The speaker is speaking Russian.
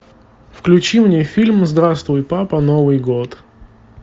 включи мне фильм здравствуй папа новый год